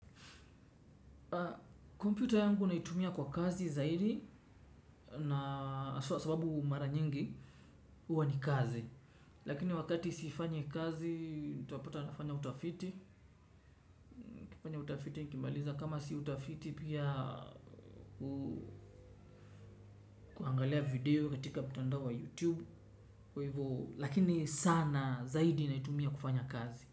Kwa kompyuta yangu naitumia kwa kazi zaidi na haswa sababu mara nyingi huwa ni kazi. Lakini wakati sifanyi kazi utapata nafanya utafiti. Nikifanya utafiti nikimaliza kama si utafiti pia huangalia video katika mtandao wa youtube. Kwa hivyo, lakini sana zaidi naitumia kufanya kazi.